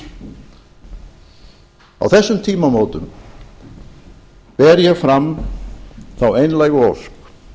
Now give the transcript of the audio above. á þessum tímamótum ber ég fram þá einlægu ósk